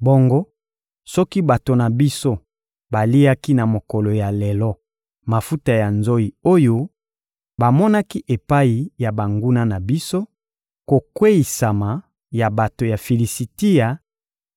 Bongo soki bato na biso baliaki na mokolo ya lelo mafuta ya nzoyi oyo bamonaki epai ya banguna na biso, kokweyisama ya bato ya Filisitia